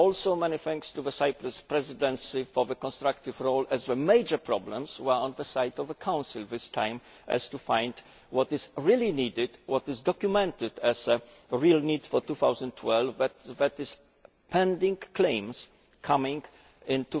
Also many thanks to the Cyprus Presidency for their constructive role, as the major problems were on the side of the Council this time, in finding what is really needed, what is documented as the real need for 2012, that is pending claims coming in